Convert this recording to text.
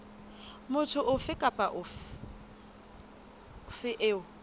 motho ofe kapa ofe eo